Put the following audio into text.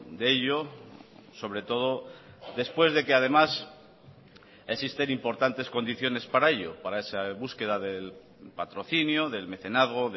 de ello sobre todo después de que además existen importantes condiciones para ello para esa búsqueda del patrocinio del mecenazgo